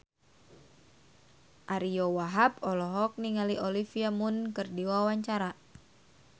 Ariyo Wahab olohok ningali Olivia Munn keur diwawancara